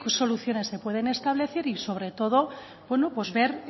soluciones se pueden establecer y sobre todo bueno pues ver